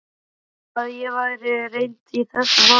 Að ég væri reynd í þessum málum?